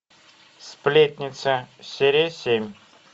сплетница серия семь